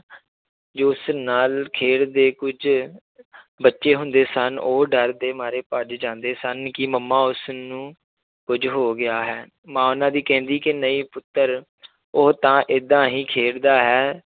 ਜੋਸ ਨਾਲ ਖੇਡਦੇ ਕੁੱਝ ਬੱਚੇ ਹੁੰਦੇ ਸਨ ਉਹ ਡਰਦੇ ਮਾਰੇ ਭੱਜ ਜਾਂਦੇ ਸਨ ਕਿ ਮੰਮਾ ਉਸਨੂੰ ਕੁੱਝ ਹੋ ਗਿਆ ਹੈ, ਮਾਂ ਉਹਨਾਂਂ ਦੀ ਕਹਿੰਦੀ ਕਿ ਨਹੀਂ ਪੁੱਤਰ ਉਹ ਤਾਂ ਏਦਾਂ ਹੀ ਖੇਡਦਾ ਹੈ